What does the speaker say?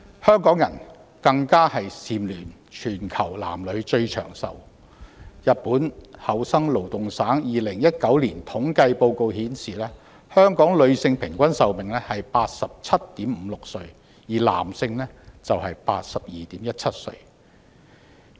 香港更蟬聯全球男女最長壽地區，日本厚生勞動省2019年的統計報告顯示，香港女性平均壽命為 87.56 歲，而男性則為 82.17 歲。